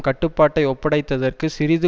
கட்டுப்பாட்டை ஒப்படைத்ததற்கு சிறிது